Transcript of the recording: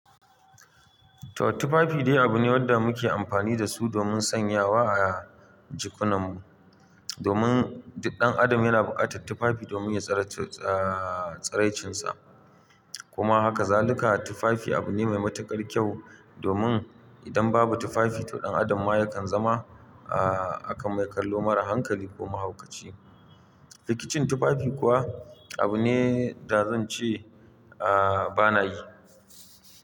To tufafi dai abu ne wanda muke amfani da su domin sanyawa a jikunan mu. Domin duk ɗan adam yana buƙatar tufafi domin ya tsare tsare-tsare tsiraicinsa. Kuma haka zaluka tufafi abu ne mai matuƙar kyau domin idan babu tufafi to ɗan adam ma yakan zama akan mai kallo mara hankali ko mahaukaci. Rikicin tufafi kuwa abu ne da zan ce bana yi.